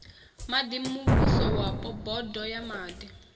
maḓi muvhusowapo bodo ya maḓi